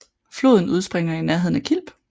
Floden udspringer i nærheden af Kilb